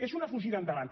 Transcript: és una fugida endavant